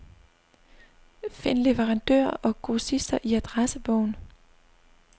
Find leverandører og grossister i adressebog.